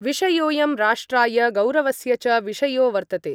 विषयोयं राष्ट्राय गौरवस्य च विषयो वर्तते।